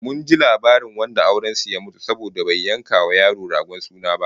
Mun ji labarin wanda auren su ya mutu saboda bai yanka wa yaro ragon suna ba